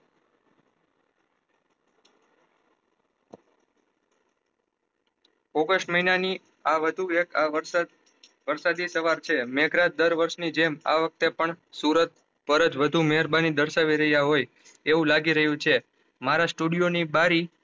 August મહિના ની આ વધુ વ્યત આ વર્ષાદ વર્ષાદી સવાર છે મેં કરત ડર વર્ષ ની જેમ આ વખતે પણ સુરત વ્રજ વધુ મેહેરબાની દર્શાવી રહ્યા હોય એવી લાગી રહ્યું છે મારા સ્ટુડીઓ ની બારી